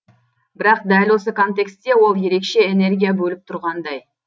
бірақ дәл осы контексте ол ерекше энергия бөліп тұрғандай